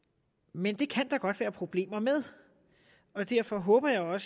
men det kan der godt være problemer med og derfor håber jeg